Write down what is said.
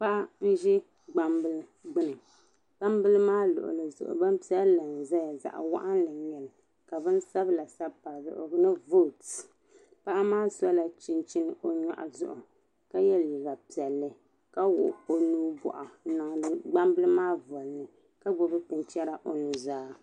Paɣa n ʒe gbambila gbuni gbambila maa luɣuli zuɣu bɛni piɛlli n ʒeya zaɣi waɣinli n nyɛli ka bin sabila sabbi pa di zuɣu ni vɔt paɣa naa sola chinchini o nyɔɣu zuɣu ka yɛ liiga piɛlli ka wuɣi o nuu bɔɣu m ma di kpambili maa wolini ka gbubi binchɛra o nu zaa.